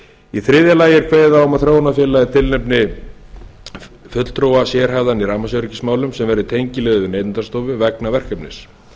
í þriðja lagi er kveðið á um að þróunarfélagið tilnefni fulltrúa sérhæfðan í rafmagnsöryggismálum sem verði tengiliður neytendastofu vegna verkefnis